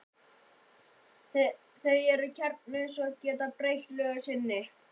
Þau eru kjarnalaus og geta breytt lögun sinni.